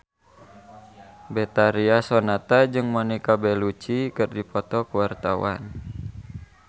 Betharia Sonata jeung Monica Belluci keur dipoto ku wartawan